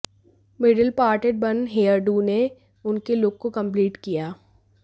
middle parted bun hairdo ने उनके look को कंप्लीट किया